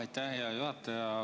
Aitäh, hea juhataja!